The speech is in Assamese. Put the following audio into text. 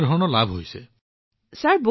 অনেক সুবিধা ছাৰ